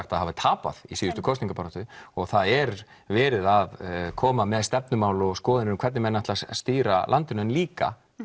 að hafi tapað í síðustu kosningabaráttu og það er verið að koma með stefnumál og skoðanir um hvernig menn ætli að stýra landinu en líka